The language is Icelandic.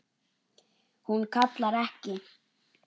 Hún kallar ekki: